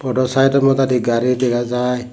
podo saido modadi gari dega jaai.